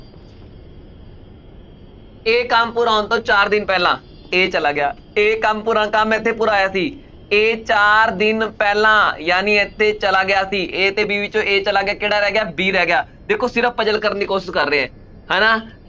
ਇਹ ਕੰਮ ਪੂਰਾ ਹੋਣ ਤੋਂ ਚਾਰ ਦਿਨ ਪਹਿਲਾਂ a ਚਲਾ ਗਿਆ ਇਹ ਕੰਮ ਪੂਰਾ ਕੰਮ ਇੱਥੇ ਪੂਰਾ ਹੋਇਆ ਸੀ a ਚਾਰ ਦਿਨ ਪਹਿਲਾਂ ਜਾਣੀ ਇੱਥੇ ਚਲਾ ਗਿਆ ਸੀ a ਤੇ b ਵਿੱਚੋਂ a ਚਲਾ ਗਿਆ, ਕਿਹੜਾ ਰਹਿ ਗਿਆ b ਰਹਿ ਗਿਆ ਦੇਖੋ ਸਿਰਫ਼ puzzle ਕਰਨ ਦੀ ਕੋਸ਼ਿਸ਼ ਕਰ ਰਹੇ ਹੈ ਹਨਾ